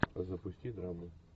запусти драму